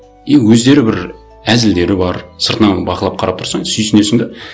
и өздері бір әзілдері бар сыртынан бақылап қарап тұрсаң сүйсінесің де